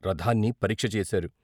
రథాన్ని పరీక్ష చేశారు.